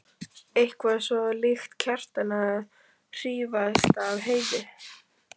Eitthvað svo líkt Kjartani að hrífast af Heiðu.